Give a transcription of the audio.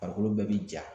Farikolo bɛɛ bɛ ja